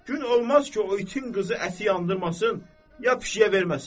Gün olmaz ki, o itin qızı əti yandırmasın, ya pişiyə verməsin.